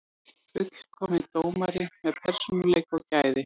Fullkominn dómari með persónuleika og gæði.